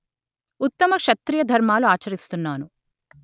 ఉత్తమ క్షత్రియ ధర్మాలు ఆచరిస్తున్నాను